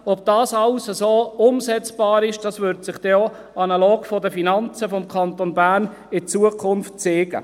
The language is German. Ob dies alles so umsetzbar ist, wird sich auch analog der Finanzen des Kantons Bern in Zukunft zeigen.